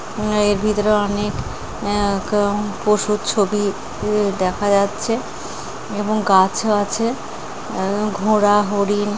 আঁ এর ভিতরে অনেক আঁ পশুর ছবি দেখা যাচ্ছে এবং গাছও আছে ঘোড়া হরিণ।